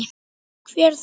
Hver þá?